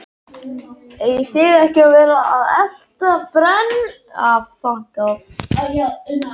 Eigið þið ekki að vera að elta brennuvarga og stórglæpamenn?